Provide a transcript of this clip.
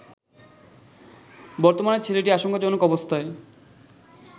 বর্তমানে ছেলেটি আশঙ্কাজনক অবস্থায়